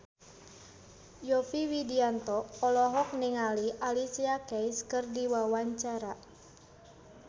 Yovie Widianto olohok ningali Alicia Keys keur diwawancara